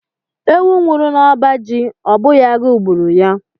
Ewu nwuru n'ọbá jị, ọ bụghị agụụ gbùrù ya.